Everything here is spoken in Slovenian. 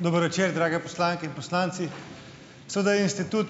Dober večer! Drage poslanke in poslanci! Seveda je institut